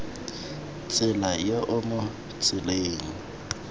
tsela yo o mo tseleng